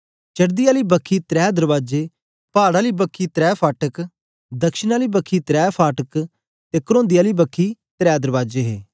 चडदी आली बक्खी त्रै दरबाजे जबाब आली बक्खी त्रै फटाक दक्षिण आली बक्खी त्रै फटाक ते करोंदी बखी आली बक्खी त्रै दरबाजे हे